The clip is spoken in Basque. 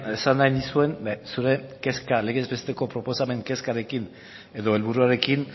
esan nahi nizun zuen legez besteko proposamen kezkarekin edo helburuarekin